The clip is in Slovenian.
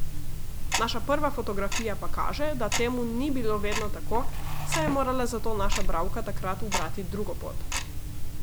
Naša prva fotografija pa kaže, da temu ni bilo vedno tako, saj je morala zato naša bralka takrat ubrati drugo pot.